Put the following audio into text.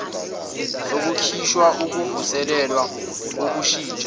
sokukhishwa ukuvuselelwa ukushintshwa